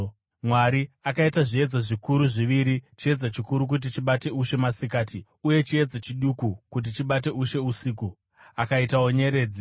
Mwari akaita zviedza zvikuru zviviri, chiedza chikuru kuti chibate ushe masikati uye chiedza chiduku kuti chibate ushe usiku. Akaitawo nyeredzi.